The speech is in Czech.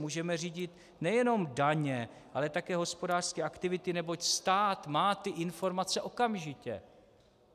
Můžeme řídit nejenom daně, ale také hospodářské aktivity, neboť stát má ty informace okamžitě.